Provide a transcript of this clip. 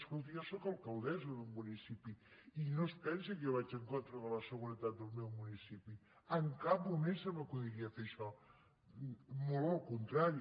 escolti jo sóc alcaldessa d’un municipi i no es pensi que jo vaig en contra de la seguretat del meu municipi en cap moment se m’acudiria fer això molt al contrari